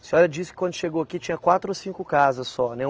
A senhora disse que quando chegou aqui tinha quatro a cinco casas só, né?